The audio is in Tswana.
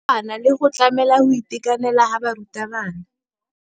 Bana ba le bantsi ba tlhaga mo malapeng a a humanegileng